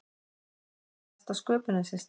þar á mesta sköpunin sér stað